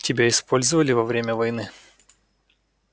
тебя использовали во время войны